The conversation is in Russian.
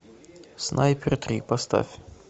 снайпер три поставь